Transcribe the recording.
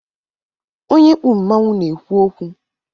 Onye kpu mmanwụ na-ekwu okwu